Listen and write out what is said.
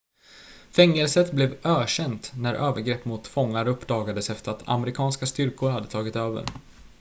fängelset blev ökänt när övergrepp mot fångar uppdagades efter att amerikanska styrkor hade tagit över